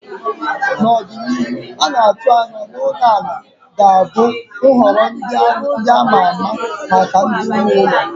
Na ọdịnihu, a na-atụ anya na ulo ala ga-abụ nhọrọ ndị a ma ama maka ndị nwe ụlọ